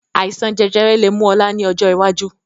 Àìsàn jẹjẹrẹ lè mú ọ̀la ni ọjọ́ iwájú